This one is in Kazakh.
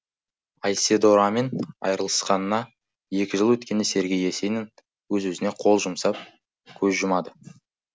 айседорамен айырылысқанына екі жыл өткенде сергей есенин өз өзіне қол жұмсап көз жұмады